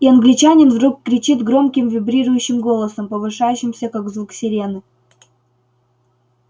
и англичанин вдруг кричит громким вибрирующим голосом повышающимся как звук сирены